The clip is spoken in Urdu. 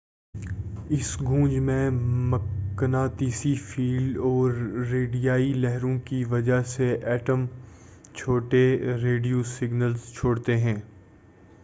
اس گونج میں مقناطیسی فیلڈ اور ریڈیائی لہروں کی وجہ سے ایٹم چھوٹے ریڈیو سگنلز چھوڑتے ہیں